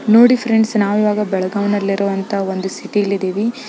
ನೋಡಿ ಫ್ರೆಂಡ್ಸ್ ನಾವು ಇವಾಗ ಬೆಳಗಾಂನಲ್ಲಿರುವಂತಹ ಒಂದು ಸಿಟಿಯಲ್ಲಿ ಇದ್ದೀವಿ --